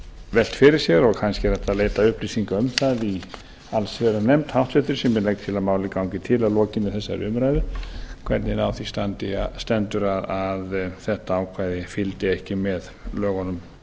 velt fyrir sér og kannski er hægt að veita upplýsingar um það í háttvirta allsherjarnefnd sem ég legg til að málið gangi til að lokinni þessari umræðu hvernig stendur á því að þetta ákvæði fylgdi ekki með lögunum